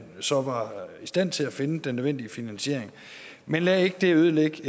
så var i stand til at finde den nødvendige finansiering men lad det ikke ødelægge